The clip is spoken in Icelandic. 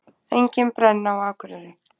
Engin brenna á Akureyri